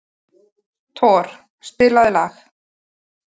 Thor, spilaðu lag.